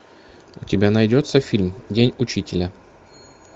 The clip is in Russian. у тебя найдется фильм день учителя